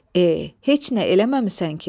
E, heç nə eləməmisən ki.